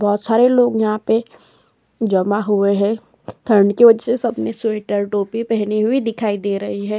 बहुत सारे लोग यहां पे जमा हुए हैं ठंड की वजह से सबने स्वेटर टोपी पहनी हुई दिखाई दे रही है।